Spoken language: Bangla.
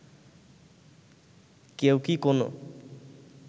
কেউ কি কোনো